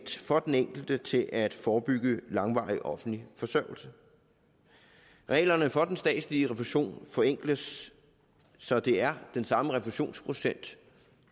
for den enkelte til at forebygge langvarig offentlig forsørgelse reglerne for den statslige refusion forenkles så det er den samme refusionsprocent